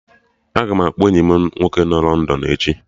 Aga m akpọ enyi m nwoke nọ London echi